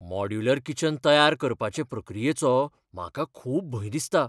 Modular kitchen तयार करपाचे प्रक्रियेचो म्हाका खूब भंय दिसता.